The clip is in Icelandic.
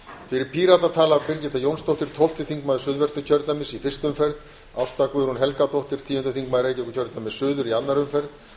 fyrir pírata tala birgitta jónsdóttir tólfti þingmaður suðvesturkjördæmis í fyrstu umferð ásta guðrún helgadóttir tíundi þingmaður reykjavíkurkjördæmis suður í annarri umferð og helgi hrafn